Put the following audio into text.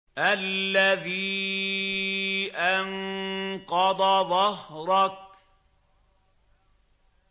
الَّذِي أَنقَضَ ظَهْرَكَ